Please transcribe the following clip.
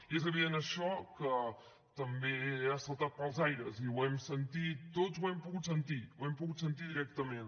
i és evident això que també ha saltat pels aires i ho hem sentit tots ho hem pogut sentir ho hem pogut sentir directament